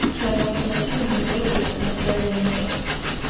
что он должен платить за неделю на которой его не было